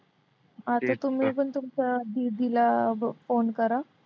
तुमच्या दीदीला phone करा.